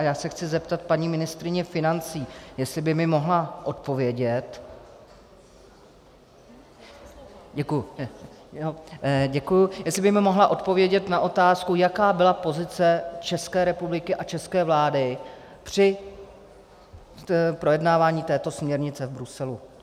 A já se chci zeptat paní ministryně financí, jestli by mi mohla odpovědět na otázku, jaká byla pozice České republiky a české vlády při projednávání této směrnice v Bruselu.